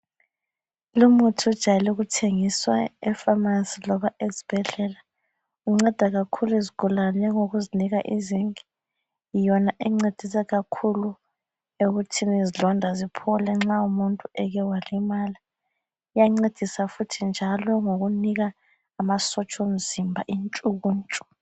Lumuthi ujayelukuthengiswa efamasi loba esibhedlela. Unceda kakhulu izigulane ukuzinika i-zinc. Yona encedisa kakhulu ekuthini izilonda ziphole nxa umuntu eke walimala. Uyancedisa futhi njalo ngokunika amasotsha omzimba intshukuntshu.